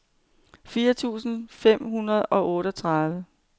firs tusind fem hundrede og otteogtredive